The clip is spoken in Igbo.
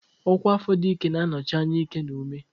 Ọkwa afọ dị ike na-anọchi anya ike na ume.